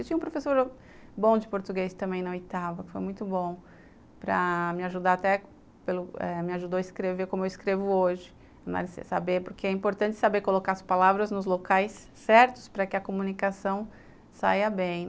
Tinha um professor bom de português também na oitava, foi muito bom para me ajudar até, me ajudou a escrever como eu escrevo hoje, porque é importante saber colocar as palavras nos locais certos para que a comunicação saia bem.